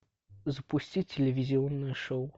запусти телевизионное шоу